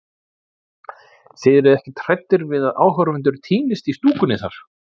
Þið eruð ekkert hræddir við að áhorfendur týnist í stúkunni þar?